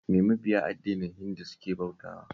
Me mabiya addinin Hindu suke bautawa?